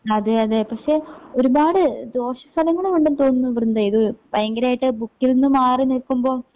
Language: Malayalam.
അതേയതേ പക്ഷെ ഒരുപാട് ദോഷഫലങ്ങളും ഉണ്ടെന്ന് തോന്നുന്നു വൃന്ദയിത് ഭയങ്കരായിട്ട് ബുക്കിൽന്ന് മാറി നിക്കുമ്പോ